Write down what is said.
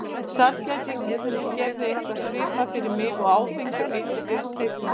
Sælgæti gerði eitthvað svipað fyrir mig og áfengi og eiturlyf seinna.